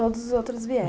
Todos os outros vieram?